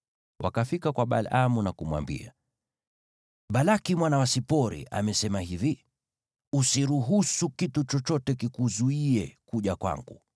Wakafika kwa Balaamu na kumwambia: “Balaki mwana wa Sipori amesema hivi: Usiruhusu kitu chochote kikuzuie kuja kwangu,